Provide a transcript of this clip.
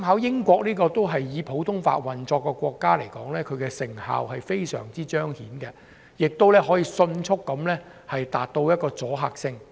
英國也是以普通法運作的國家，設立有關法庭，成效非常顯著，迅速產生阻嚇作用。